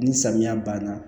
Ni samiya banna